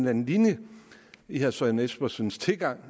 anden linje i herre søren espersens tilgang